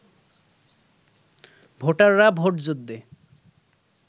ভোটাররা ভোট যুদ্ধে